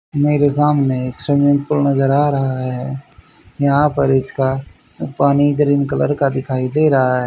मेरे सामने एक स्विमिंग पूल नजर आ रहा है यहां पर इसका पानी ग्रीन कलर का दिखाई दे रहा है।